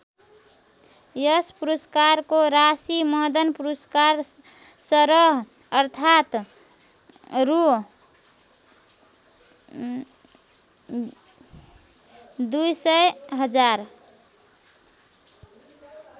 यस पुरस्कारको राशि मदन पुरस्कार सरह अर्थात् रु २०००००।